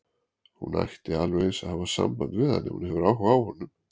Hún ætti alveg eins að hafa samband við hann ef hún hefur áhuga á honum.